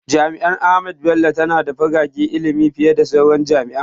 Jami’ar Ahmadu Bello tana da fagagen ilimi fiye da sauran jami’o’in.